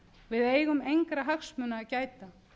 við eigum engra hagsmuni að gæta